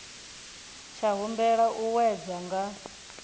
tsha humbela u wedzwa nga